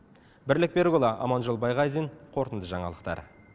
бірлік берікұлы аманжол байғазин қорытынды жаңалықтар